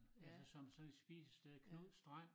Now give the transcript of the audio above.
Altså som som sådan et spisested Knuds strand